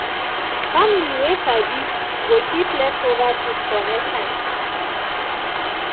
family wey sabi go keep leftover food for next time.